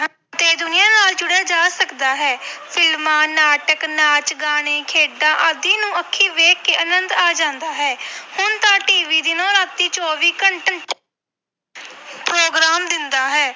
ਤੇ ਦੁਨੀਆਂ ਨਾਲ ਜੁੜਿਆ ਜਾ ਸਕਦਾ ਹੈ ਫਿਲਮਾਂ ਨਾਟਕ ਨਾਚ ਗਾਣੇ ਖੇਡਾਂ ਆਦਿ ਨੂੰ ਅੱਖੀ ਵੇਖ ਕੇ ਆਨੰਦ ਆ ਜਾਂਦਾ ਹੈ ਹੁਣ ਤਾਂ TV ਦਿਨੋਂ ਰਾਤੀ ਚੌਵੀ ਘੰ program ਦਿੰਦਾ ਹੈ।